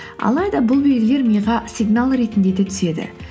алайда бұл белгілер миға сигнал ретінде де түседі